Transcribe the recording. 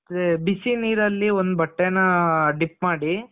ಮತ್ತೆ ಬಿಸಿ ನೀರಲ್ಲಿ ಒಂದು ಬಟ್ಟೆನ dip ಮಾಡಿ